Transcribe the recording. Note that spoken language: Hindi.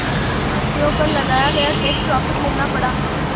भारतीयों पर लगाया गया टैक्स वापस लेना पड़ा